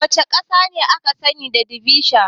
Wace ƙasa ce aka sani da ceviche?